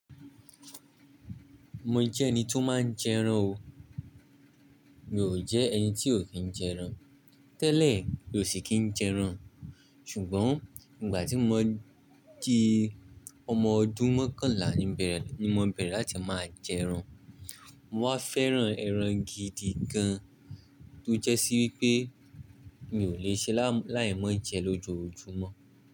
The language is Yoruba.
Mo jẹ́ ẹni tí ó máa ń jẹran o. Mi ò jẹ́ ẹni tí ò kí ń jẹran. Tẹ́lẹ̀, mi ò sì kí ń jẹran. Ṣùgbọ́n, ìgbà tí mo n ti ọmọ ọdún mọ́kànlá ni bẹrẹ ni mo bẹ̀rẹ̀ láti máa jẹran. Mo wá fẹ́ran ẹran gidi gan, tó jẹ́sí wípé mi ò le ṣe láì mú jẹ lójoojúmọ́